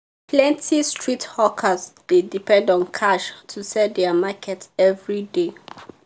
plenty street hawkers dey depend on cash to sell their market every day.